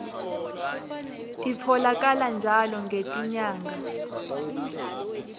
titfolakala njalo ngetinyanga